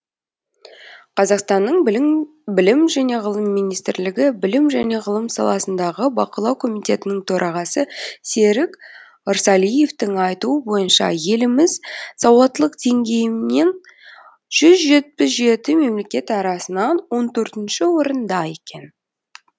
қазақстанның білім және ғылым министрлігі білім және ғылым саласындағы бақылау комитетінің төрағасы серік ырсалиевтің айтуы бойынша еліміз сауаттылық деңгейінен жүз жетпіс жеті мемлекет арасынан он төртінші орында екен